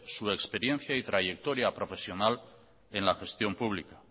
su experiencia y trayectoria profesional en la gestión pública